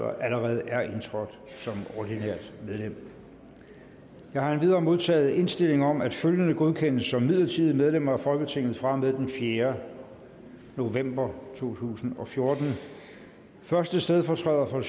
allerede er indtrådt som ordinært medlem jeg har endvidere modtaget indstilling om at følgende godkendes som midlertidige medlemmer af folketinget fra og med den fjerde november 2014 første stedfortræder for